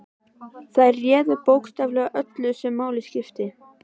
Þær réðu bókstaflega öllu sem máli skipti.